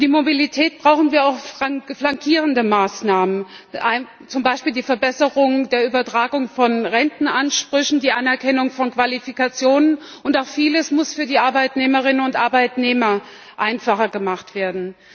Für die Mobilität brauchen wir auch flankierende Maßnahmen, zum Beispiel die Verbesserung der Übertragung von Rentenansprüchen, die Anerkennung von Qualifikationen, und vieles muss auch für die Arbeitnehmerinnen und Arbeitnehmer einfacher gemacht werden.